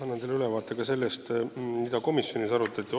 Annan teile ülevaate ka sellest, mida komisjonis arutati.